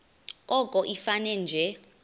koko ifane nje